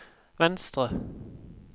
venstre